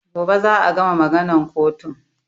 Gobe za a gama maganan kotun